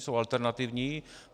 Jsou alternativní.